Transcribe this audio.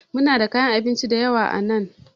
Muna da kayan abinci da yawa a nan